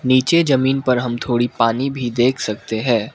नीचे जमीन पर हम थोड़ी पानी भी देख सकते है।